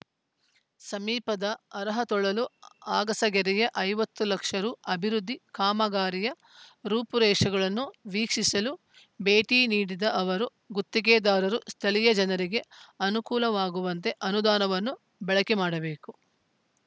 ಸಮೀಪದ ಅರಹತೊಳಲು ಅಗಸಕೆರೆಯ ಐವತ್ತು ಲಕ್ಷ ರು ಅಭಿವೃದ್ಧಿ ಕಾಮಗಾರಿಯ ರೂಪುರೇಷೆಗಳನ್ನು ವೀಕ್ಷಿಸಲು ಭೇಟಿ ನೀಡಿದ ಅವರು ಗುತ್ತಿಗೆದಾರರು ಸ್ಥಳೀಯ ಜನರಿಗೆ ಅನುಕೂಲವಾಗುವಂತೆ ಅನುದಾನವನ್ನು ಬಳಕೆ ಮಾಡಬೇಕು